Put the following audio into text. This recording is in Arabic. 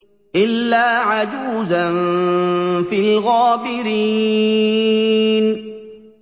إِلَّا عَجُوزًا فِي الْغَابِرِينَ